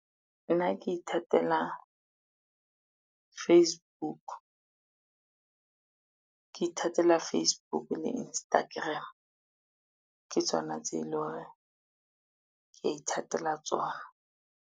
Nna ke ithatela Facebook, ke ithatela Facebook le Instagram, ke tsona tse e lo hore ke ithatela tsona.